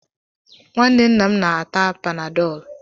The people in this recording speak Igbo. Nwanne nna m na-ata panadọlụ.